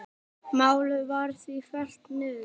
Málið var því fellt niður.